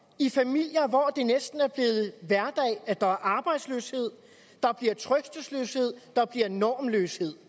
i familier hvor det næsten er blevet hverdag at der er arbejdsløshed der bliver trøstesløshed der bliver normløshed